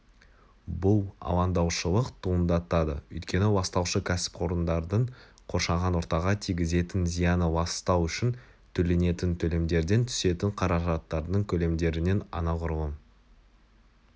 бұл алаңдаушылық туындатады өйткені ластаушы кәсіпорындардың қоршаған ортаға тигізетін зияны ластау үшін төленетін төлемдерден түсетін қаражаттардың көлемдерінен анағұрлым